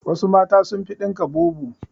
Wassu mata sun fi dinka bubu